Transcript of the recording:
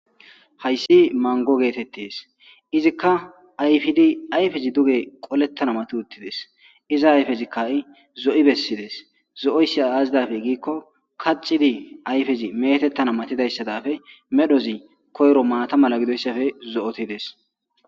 Hayssi manggo geetettes. Izikka ayfidi ayfezi duge qolettana mati uttides. Iza ayfezi ha'i zo'i bessides. Zo'oyssa aazi daafe giikko kaxxidi ayfezi meetettana matidayssa dafe medhozi koyro maata mala gidoyssafe zo'otides.